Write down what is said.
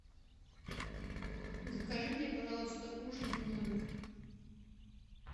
закажи мне пожалуйста ужин в номер